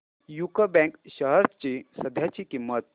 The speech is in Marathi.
यूको बँक शेअर्स ची सध्याची किंमत